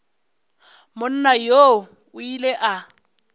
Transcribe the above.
monna yoo o ile a